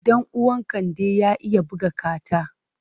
Ɗan uwan Kande ya iya buga kata.